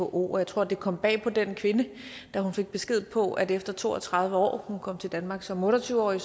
who og jeg tror det kom bag på den kvinde da hun fik besked på at efter to og tredive år hun kom til danmark som otte og tyve årig